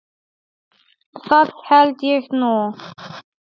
Það held ég nú.